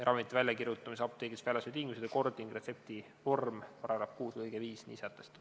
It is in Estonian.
Ravimite väljakirjutamise, apteegist väljastamise tingimused ja kord ning retsepti vorm, § 6 lõige 5 nii sätestab.